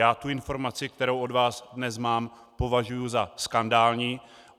Já tu informaci, kterou od vás dnes mám, považuji za skandální.